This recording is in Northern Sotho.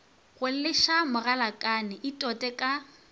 go leša mogalakane itote ka